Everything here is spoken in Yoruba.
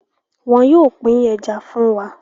wón yóò pin Ẹja fún wá.